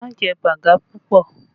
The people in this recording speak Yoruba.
Má jẹ baga pupọ!